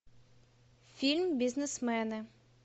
фильм бизнесмены